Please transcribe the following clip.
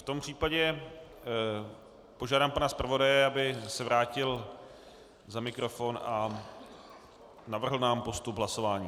V tom případě požádám pana zpravodaje, aby se vrátil za mikrofon a navrhl nám postup hlasování.